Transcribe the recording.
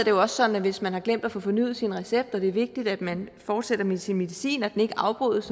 jo også sådan at hvis man har glemt at få fornyet sin recept og det er vigtigt at man fortsætter med sin medicin og at den ikke afbrydes